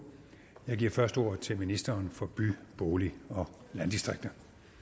jeg giver først ordet til ministeren for by bolig og landdistrikter